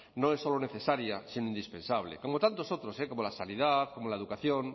no es solo necesaria sino indispensable como tantos otros como la sanidad la educación